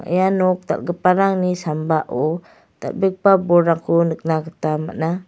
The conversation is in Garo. ia nok dal·giparangni sambao dal·begipa bolrangko nikna gita man·a.